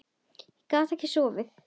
Ég gat ekkert sofið.